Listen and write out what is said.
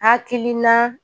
Hakilina